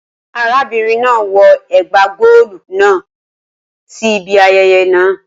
Arabinrin naa wọ ẹgba goolu kan si ibi ayẹyẹ naa